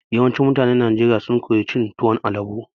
Yawancin mutanen Najeriya sun koyi cin tuwon alabo.